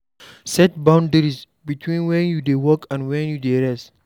Set boundaries beween when you dey work and when you dey rest